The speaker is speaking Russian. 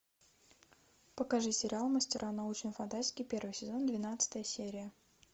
покажи сериал мастера научной фантастики первый сезон двенадцатая серия